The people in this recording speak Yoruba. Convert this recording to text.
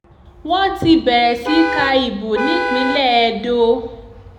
wọ́n ti bẹ̀rẹ̀ sí í ka ìbò nípínlẹ̀ edo